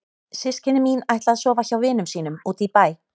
Systkini mín ætla að sofa hjá vinum sínum úti í bæ.